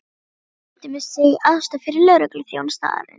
Sá kynnti sig sem aðstoðaryfirlögregluþjón staðarins.